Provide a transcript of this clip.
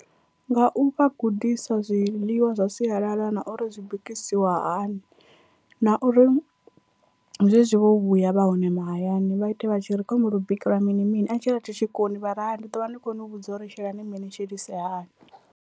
Nga u vha gudisa zwiḽiwa zwa sialala na uri zwi bikisiwa hani, na uri zwezwi vho vhuya vha hone mahayani vha ite vha tshi ri khou humbela u bikeliwa mini mini a tshi ri a thi tshi koni vha ri hai ndi ḓo vha ndi khou ni vhudza uri shelani mini ni shelise hani.